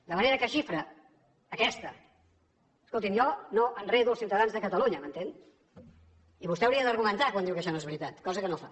de manera que xifra aquesta escolti’m jo no enredo els ciutadans de catalunya m’entén i vostè hauria d’argumentar quan diu que això no és veritat cosa que no fa